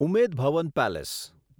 Umaid Bhawan palace